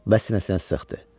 Və sinəsinə sıxdı.